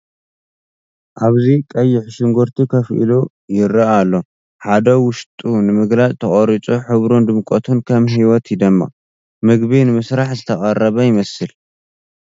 ኣብዚ ቀይሕ ሽጉርቲ ኮፍ ኢሉ ይረአ ኣሎ፤ ሓደ ውሽጡ ንምግላጽ ተቖሪጹ፡ ሕብሩን ድምቀቱን ከም ህይወት ይደምቕ። ምግቢ ንምስራሕ ዝተቐረበ ይመስል፡፡